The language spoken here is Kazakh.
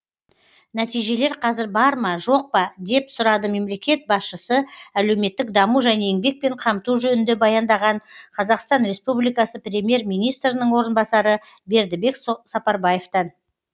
нәтижелер қазір бар ма жоқ па деп сұрады мемлекет басшысы әлеуметтік даму және еңбекпен қамту жөнінде баяндаған қазақстан республикасы премьер министрінің орынбасары бердібек сапарбаевтан